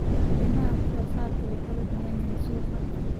Qiimaha wax soo saarku wuu kala duwan yahay suuqa.